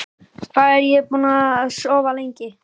Hvað er ég búinn að sofa lengi?